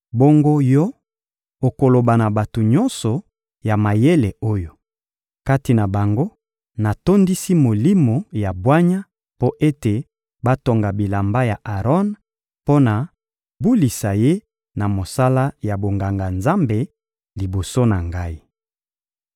Bongo yo, okoloba na bato nyonso ya mayele oyo, kati na bango, natondisi molimo ya bwanya mpo ete batonga bilamba ya Aron mpo na kobulisa ye na mosala ya bonganga-Nzambe liboso na Ngai.